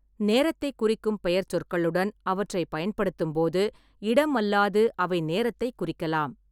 நேரத்தைக் குறிக்கும் பெயர்ச்சொற்களுடன் அவற்றைப் பயன்படுத்தும்போது இடம் அல்லாது அவை நேரத்தைக் குறிக்கலாம்.